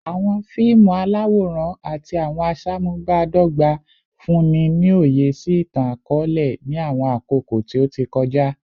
Awọn fiimu alaworan ati awọn aṣamubadọgba funni ni oye si itan-akọọlẹ ni awọn akoko ti o ti kọja